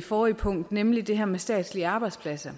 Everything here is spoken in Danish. forrige punkt nemlig det her med statslige arbejdspladser